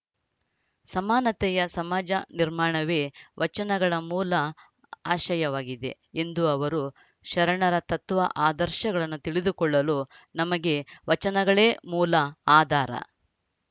ಸಮಾನತೆಯ ಸಮಾಜ ನಿರ್ಮಾಣವೇ ವಚನಗಳ ಮೂಲ ಆಶಯವಾಗಿದೆ ಎಂದು ಅವರು ಶರಣರ ತತ್ವ ಆದರ್ಶಗಳನ್ನು ತಿಳಿದುಕೊಳ್ಳಲು ನಮಗೆ ವಚನಗಳೇ ಮೂಲ ಆಧಾರ